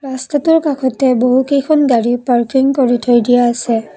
ৰাস্তাটোৰ কাষতে বহুকেইখন গাড়ী পাৰ্কিং কৰি থৈ দিয়া আছে।